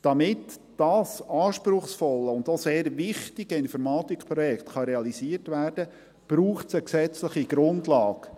Damit dieses anspruchsvolle und auch sehr wichtige Informatikprojekt realisiert werden kann, braucht es eine gesetzliche Grundlage.